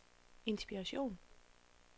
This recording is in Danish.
inspiration